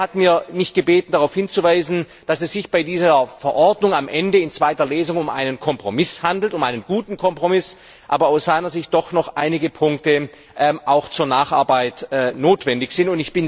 Er hat mich gebeten, darauf hinzuweisen, dass es sich bei dieser Verordnung am Ende in zweiter Lesung um einen Kompromiss handelt, um einen guten Kompromiss, aus seiner Sicht aber doch noch einige Punkte zur Nacharbeit notwendig sind.